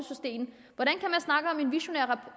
en visionær